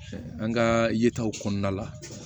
An ka yetaw kɔnɔna la